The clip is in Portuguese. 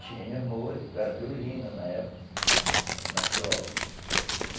Tinha músicos, era violina na época, na viola.